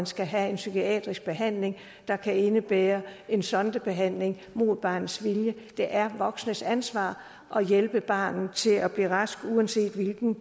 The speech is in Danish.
skal have en psykiatrisk behandling der kan indebære en sondebehandling mod barnets vilje det er voksnes ansvar at hjælpe barnet til at blive rask uanset hvilken